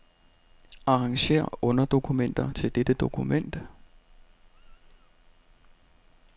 Arrangér underdokumenter til dette dokument.